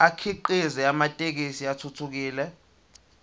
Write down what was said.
akhiqize amathekisthi athuthukile